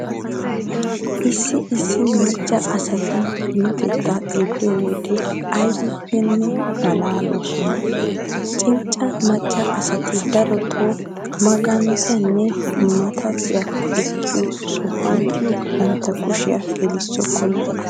Issi issi macca asatu minotettaa xeelliyo wode aybippenne maalaaloosona. Cincca Macca asati darotoo maganxxaanne mattaayyiya ekkiyo sohuwan bantta kushiya gelissokkona.